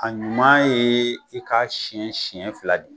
A ɲuman ye i ka siyɛn senɲɛn fila de.